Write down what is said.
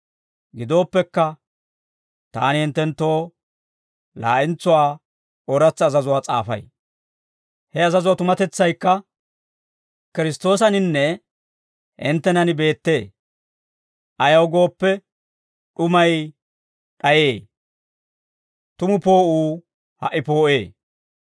Gidooppekka, taani hinttenttoo laa'entsuwaa ooratsa azazuwaa s'aafay; he azazuwaa tumatetsaykka Kiristtoosaninne hinttenan beettee. Ayaw gooppe, d'umay d'ayee; tumu poo'uu ha"i poo'ee.